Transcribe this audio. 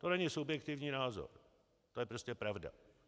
To není subjektivní názor, to je prostě pravda.